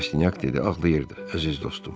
Rastinyak dedi: Ağlayırdı, əziz dostum.